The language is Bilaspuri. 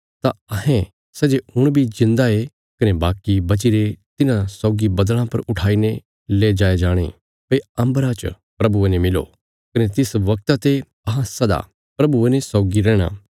तां अहें सै जे हुण बी जिऊंदा ये कने बाकी बचीरे तिन्हां सौगी बद्दल़ां पर ऊठाईने ले जाये जाणे भई अम्बरा च प्रभुये ने मिलो कने तिस वगता ते अहां सदा प्रभुये ने सौगी रैहणा